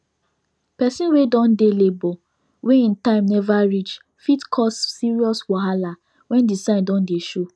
persin wey don dey labor wey him time never reach fit cause serious wahala when the sign don dey show